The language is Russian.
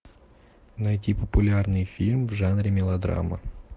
найти популярный фильм в жанре мелодрама